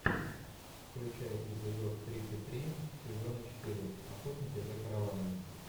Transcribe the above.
включай эпизод тридцать три сезона четыре охотники за караванами